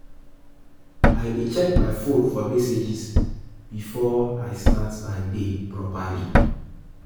I dey check my phone for messages before I start my day properly.